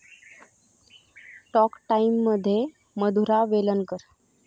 talk टाइममध्ये मधुरा वेलणकर